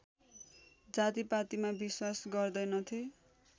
जातिपातिमा विश्वास गर्दैनथे